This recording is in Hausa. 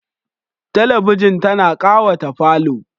Talabijin tana ƙawata falo.